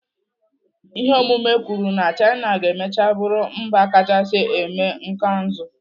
Ihe ọmụmụ kwuru na China ga-emecha bụrụ mba kachasị eme igwe nkanụzụ.